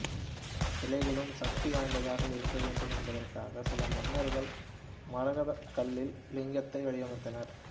சிலைகளும் சக்தி வாய்ந்ததாக இருக்க வேண்டும் என்பதற்காக சில மன்னர்கள் மரகதக் கல்லில் லிங்கத்தை வடிவமைத்தனர்